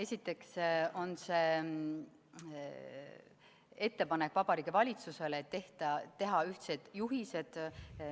Esiteks on see ettepanek Vabariigi Valitsusele teha ühtsed juhised.